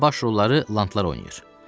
amma baş rolları lantlar oynayır.